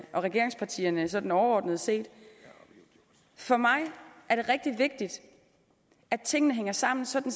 og regeringspartierne sådan overordnet set for mig er det rigtig vigtigt at tingene hænger sammen sådan